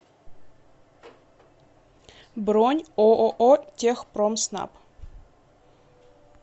бронь ооо техпромснаб